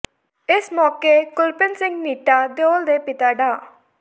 ਇਸ ਮੌਕੇ ਕੁਲਪ੍ਰੀਤ ਸਿੰਘ ਨੀਟਾ ਦਿਉਲ ਦੇ ਪਿਤਾ ਡਾ